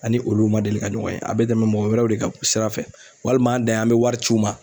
Ani olu ma deli ka ɲɔgɔn ye. A bɛ tɛmɛ mɔgɔ wɛrɛw de ka sira fɛ walima an' dan ye an' bɛ wari c'u ma